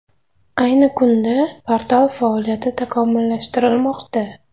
Ayni kunda portal faoliyati takomillashtirilmoqda.